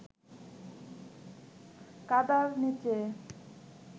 কাদার নিচে